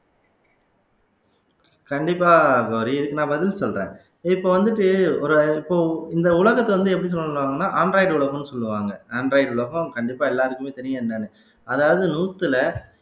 கண்டிப்பா கௌரி இதுக்கு நான் பதில் சொல்றேன் இப்ப வந்துட்டு ஒரு இப்போ இந்த உலகத்தை வந்து எப்படி சொல்லணும்ன்னா android உலகம்ன்னு சொல்லுவாங்க android உலகம் கண்டிப்பா எல்லாருக்குமே தெரியும் என்னன்னு அதாவது நூத்துல